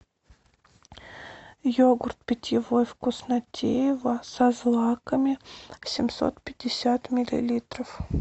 йогурт питьевой вкуснотеево со злаками семьсот пятьдесят миллилитров